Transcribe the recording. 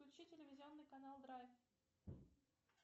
включи телевизионный канал драйв